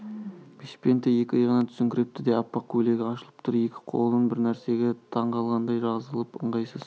бешпенті екі иығынан түсіңкірепті де аппақ көйлегі ашылып тұр екі қолы бір нәрсеге таңғалғандай жазылып ыңғайсыз